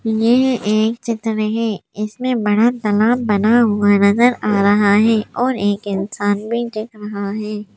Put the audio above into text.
ये एक चित्र है इसमें बड़ा तालाब बना हुआ नजर आ रहा है और एक इंसान भी दिख रहा है।